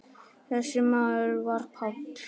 Þessi maður var Páll.